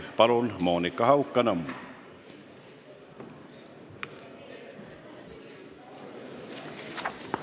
Palun, Monika Haukanõmm!